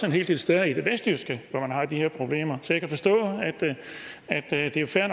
en hel del steder i det vestjyske hvor man har de her problemer det er jo fair